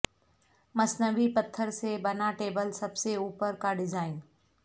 مصنوعی پتھر سے بنا ٹیبل سب سے اوپر کا ڈیزائن